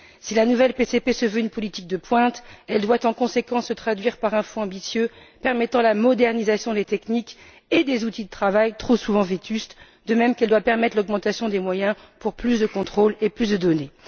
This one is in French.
Si la nouvelle PCP se veut une politique de pointe, elle doit en conséquence se traduire dans un Fonds ambitieux, permettant la modernisation des techniques et des outils de travail, trop souvent vétustes, de même qu'elle doit permettre l'augmentation des moyens pour plus de contrôles et plus de données.